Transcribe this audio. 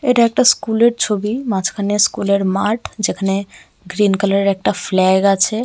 এটা একটা স্কুল -এর ছবি মাঝখানে স্কুল -এর মাঠ যেখানে গ্রীন কালার -এর একটা ফ্ল্যাগ আছে।